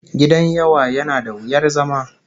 Gidan yawa yana da wuyar zama